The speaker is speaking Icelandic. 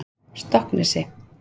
Stokksnesi